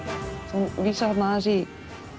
þú vísar þarna aðeins í